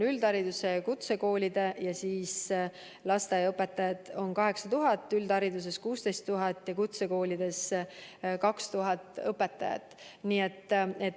Lasteaiaõpetajaid on 8000, üldhariduskoolide õpetajaid 16 000 ja kutsekoolide õpetajaid 2000.